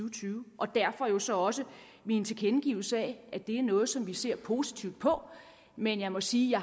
og tyve og derfor jo så også min tilkendegivelse af at det er noget som vi ser positivt på men jeg må sige at